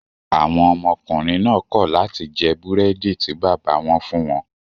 Àwọn ọmọkùnrin náà kọ̀ láti jẹ́ búrẹ́dì tí bàbá wọn fún wọn.